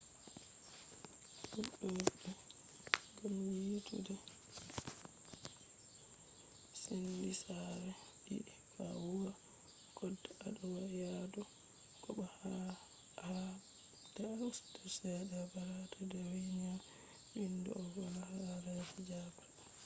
fudode ni do senditi sare didi: ko a huwa koda ado do yadu ko bo ahabda a usta chede a barata je dawainiya. vindi do’do vola hala je didabre